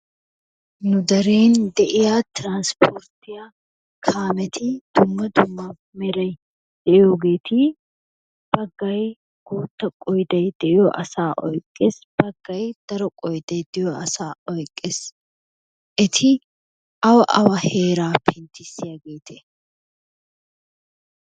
Nu deren de'iya trspporttiyaa kaameti dumma dumma mere de'iyogeeti baggay boottaa qoyday de'iyo asaa oyqqees baggay daro qoyday de'iyo asaa oyqqees eti awa awa heeraa besiyaageete?